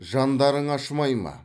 жандарың ашымай ма